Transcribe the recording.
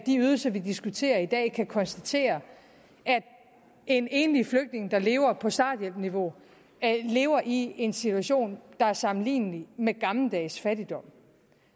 de ydelser vi diskuterer i dag kan konstatere at en enlig flygtning der lever på starthjælpsniveau lever i en situation der er sammenlignelig med gammeldags fattigdom